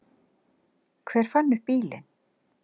Hver fann upp bílinn?